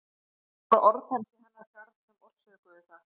Og það voru orð hans í hennar garð sem orsökuðu það.